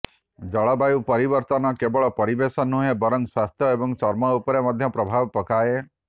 ଜଳବାୟୁ ପରିବର୍ତ୍ତନ କେବଳ ପରିବେଶ ନୁହେଁ ବରଂ ସ୍ୱାସ୍ଥ୍ୟ ଏବଂ ଚର୍ମ ଉପରେ ମଧ୍ୟ ପ୍ରଭାବ ପକାଇଥାଏ